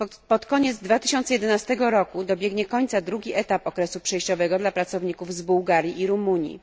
Pod koniec 2011 roku dobiegnie końca drugi etap przejściowy dla pracowników z Bułgarii i Rumunii.